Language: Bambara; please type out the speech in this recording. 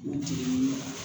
U jiginni